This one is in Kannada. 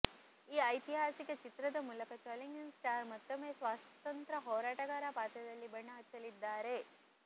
ಈ ಐತಿಹಾಸಿಕ ಚಿತ್ರದ ಮೂಲಕ ಚಾಲೆಂಜಿಂಗ್ ಸ್ಟಾರ್ ಮತ್ತೊಮ್ಮೆ ಸ್ವಾತಂತ್ರ್ಯ ಹೋರಾಟಗಾರ ಪಾತ್ರದಲ್ಲಿ ಬಣ್ಣಹಚ್ಚಲಿದ್ದಾರೆ